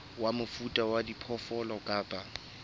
wa mofuta wa diphoofolo kapa